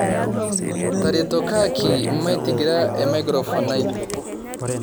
taretokoki maitigira emaikirofon ai